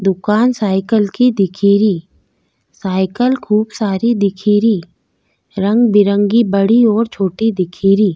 दुकान साइकिल की दिखेरी साइकिल खूब सारी दिखेरी रंगबिरंगी बड़ी और छोटी दिखेरी।